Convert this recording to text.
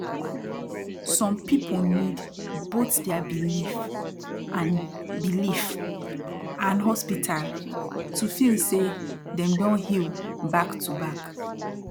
som people need both dia belief and belief and hospital to feel say dem don heal back to back